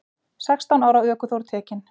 Sextán ára ökuþór tekinn